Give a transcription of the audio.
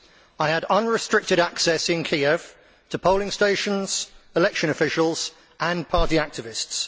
I had unrestricted access in Kiev to polling stations, election officials and party activists.